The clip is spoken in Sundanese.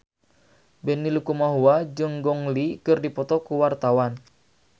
Benny Likumahua jeung Gong Li keur dipoto ku wartawan